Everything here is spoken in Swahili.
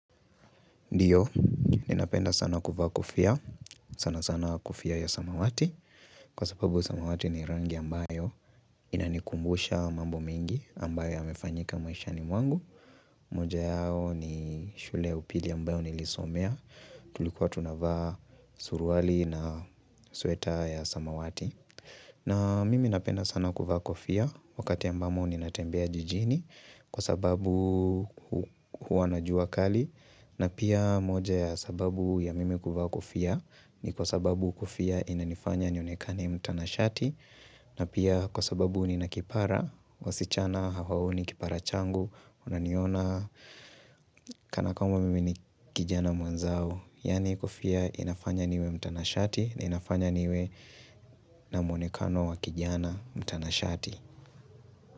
Ndiyo, ninapenda sana kuvaa kofia, sana sana kofia ya samawati Kwa sababu samawati ni rangi ambayo inanikumbusha mambo mingi ambayo yamefanyika maisha ni mwangu moja yao ni shule ya upili ambayo nilisomea, tulikuwa tunavaa suruali na sweta ya samawati na mimi napenda sana kuvaa kofia, wakati ambamo ninatembea jijini kwa sababu huwa na jua kali na pia moja ya sababu ya mimi kuvaa kufia ni kwa sababu kofia inanifanya nionekani mtanashati na pia kwa sababu nina kipara wasichana hawaoni kipara changu unaniona kana kwamba mimi ni kijana mwenzao yani kofia inafanya niwe mtanashati na inafanya niwe na muonekano wa kijana mtanashati.